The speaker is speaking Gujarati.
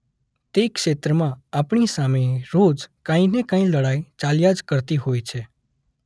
તે ક્ષેત્રમાં આપણી સામે રોજ કાંઇ ને કાંઇ લડાઇ ચાલ્યા જ કરતી હોય છે.